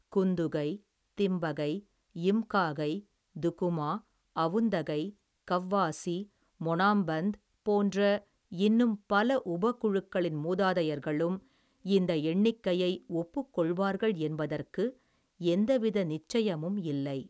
குந்துகை, திம்பகை, யிம்காகை, துகுமா, அவுந்தகை, கவ்வாசி, மொனாம்பந், போன்ற இன்னும் பல உபகுழுக்களின் மூதாதையர்களும், இந்த எண்ணிக்கையை, ஒப்புக்கொள்வார்கள் என்பதற்கு எந்தவித நிச்சயமும் இல்லை.